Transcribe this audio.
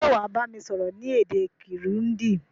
Sé wàá bámi sọ́rọ́ ni èdè Kirundi